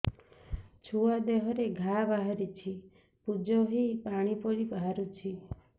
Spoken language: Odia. ଛୁଆ ଦେହରେ ଘା ବାହାରିଛି ପୁଜ ହେଇ ପାଣି ପରି ବାହାରୁଚି